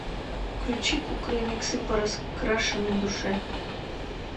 включи кукрыниксы по раскрашенной душе